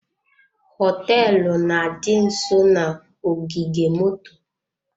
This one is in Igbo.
Hoteelu na-adị nsọ na-ogige moto.